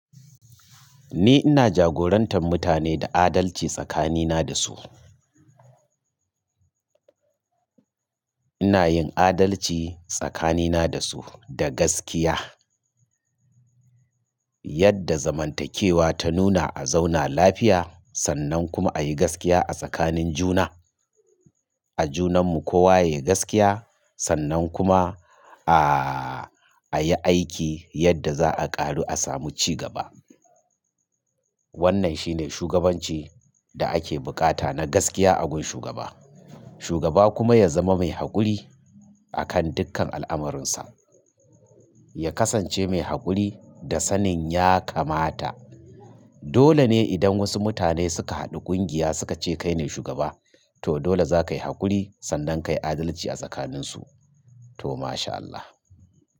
Ni ina jagorantar mutane da adalci tsakanina da su. Ina yin adalci tsakanina da su da gaskiya. Yadda zamantakewa ta nuna a zauna lafiya sannan kuma a yi gaskiya a tsakanin juna. A junanmu kowa yayi gaskiya sannan kuma a, a yi aiki yadda za a ƙaru a samu ci gaba. Wannan shine shugabanci da ake buƙata na gaskiya agun shugaba. Shugaba kuma ya zama mai haƙuri akan dukkan al'amarinsa. Ya kasance mai haƙuri da sanin ya kamata. Dole ne idan wasu mutane suka haɗu ƙungiya suka ce kai ne shugaba to dole za ka yi haƙuri sannan kayi adalci a tsakaninsu. To masha Allah.